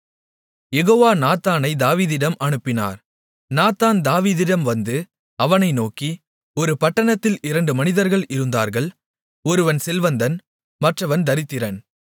யெகோவா நாத்தானைத் தாவீதிடம் அனுப்பினார் நாத்தான் தாவீதிடம் வந்து அவனை நோக்கி ஒரு பட்டணத்தில் இரண்டு மனிதர்கள் இருந்தார்கள் ஒருவன் செல்வந்தன் மற்றவன் தரித்திரன்